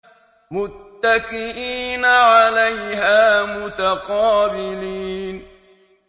مُّتَّكِئِينَ عَلَيْهَا مُتَقَابِلِينَ